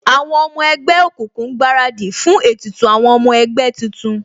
Àwọn ọmọ ẹgbẹ́ òkùnkùn ń gbaradì fún ètùtù àwọn ọmọ ẹgbẹ́ tuntun